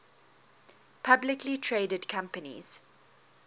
publicly traded companies